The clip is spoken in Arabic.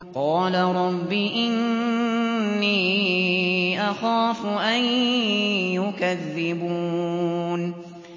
قَالَ رَبِّ إِنِّي أَخَافُ أَن يُكَذِّبُونِ